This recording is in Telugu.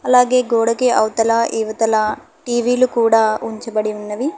అలాగే గోడకి అవతల ఇవతల టి_వి ల కూడ ఉంచబడి ఉన్నవి.